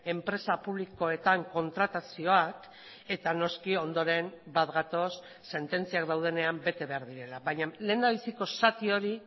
enpresa publikoetan kontratazioak eta noski ondoren bat gatoz sententziak daudenean bete behar direla baina lehendabiziko zati hori